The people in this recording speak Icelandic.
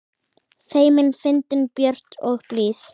Feimin, fyndin, björt og blíð.